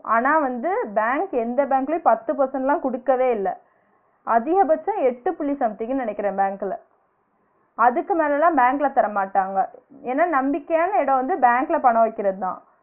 ஆனா வந்து பேங்க் எந்த பேங்க்லயும் பத்து percent லாம் குடுக்கவே இல்ல அதிகபட்சம் எட்டு புள்ளி something ன்னு நினைக்குறன் பேங்க்ல அதுக்கு மேல லாம் பேங்க்ல தரமாட்டாங்க, ஏன்னா நம்பிக்கையான இட வந்து பேங்க்ல பணம் வைக்கிறது தான்